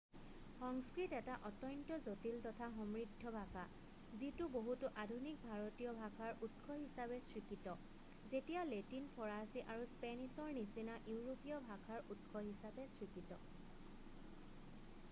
সংস্কৃত এটা অত্যন্ত জটিল তথা সমৃদ্ধ ভাষা যিটো বহুতো আধুনিক ভাৰতীয় ভাষাৰ উৎস হিচাপে স্বীকৃত যেনেকৈ লেটিন ফৰাছী আৰু স্পেনিছৰ নিচিনা ইউৰোপীয় ভাষাৰ উৎস হিচাপে স্বীকৃত